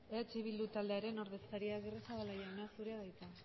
eh bildu taldearen ordezkaria agirrezabala jauna zurea da hitza